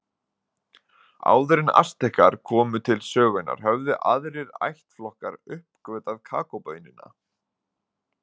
Áður en Astekar komu til sögunnar höfðu aðrir ættflokkar uppgötvað kakóbaunina.